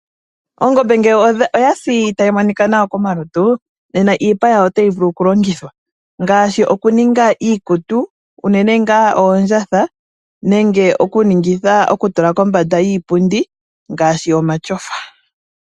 Ongombe ngele oyasi tayi monika nawa komalutu nena iipa yawo otayi vulu oku longithwa, ngaashi okuninga iikutu unene nga oondjatha nenge oku tula kombanda yiipundi ngaashi omashofa.